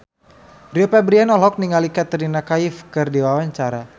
Rio Febrian olohok ningali Katrina Kaif keur diwawancara